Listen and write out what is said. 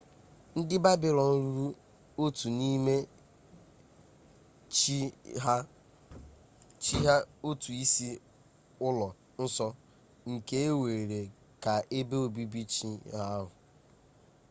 ndị babịlọn rụrụ otu n'ime chi ha otu isi ụlọ nsọ nke e were ka ebe obibi chi ahụ